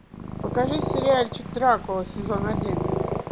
покажи сериальчик дракула сезон один